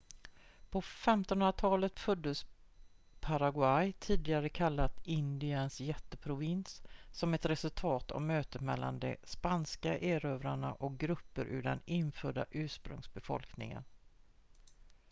"på 1500-talet föddes paraguay tidigare kallat "indiens jätteprovins" som ett resultat av mötet mellan de spanska erövrarna och grupper ur den infödda ursprungsbefolkningen.